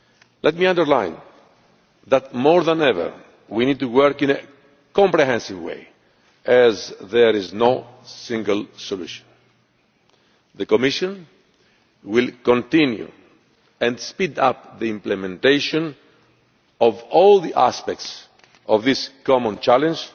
Let me underline that, more than ever, we need to work in a comprehensive way as there is no single solution. The Commission will continue and speed up the implementation of all the aspects of this common